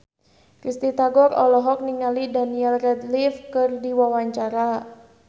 Risty Tagor olohok ningali Daniel Radcliffe keur diwawancara